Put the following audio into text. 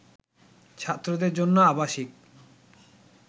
ছাত্রদের জন্য আবাসিক